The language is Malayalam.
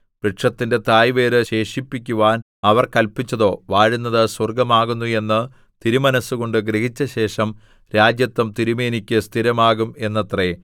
വൃക്ഷത്തിന്റെ തായ് വേര് ശേഷിപ്പിക്കുവാൻ അവർ കല്പിച്ചതോ വാഴുന്നത് സ്വർഗ്ഗമാകുന്നു എന്ന് തിരുമനസ്സുകൊണ്ട് ഗ്രഹിച്ചശേഷം രാജത്വം തിരുമേനിക്ക് സ്ഥിരമാകും എന്നത്രെ